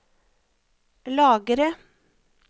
lagre